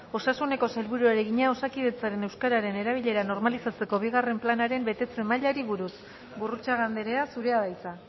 osasuneko sailburuari egina osakidetzaren euskararen erabilera normalizatzeko bigarren planaren betetze mailari buruz gurrutxaga andrea zurea da hitza